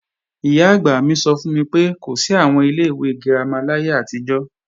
Ìyá-àgbà mi sọ fún mi pé, kò sí àwọn ilé ìwé girama láyé àtijọ́